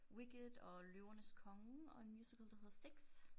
Wicked og Løvernes Konge og en musical der hedder Six